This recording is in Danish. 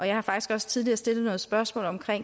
jeg har faktisk også tidligere stillet spørgsmål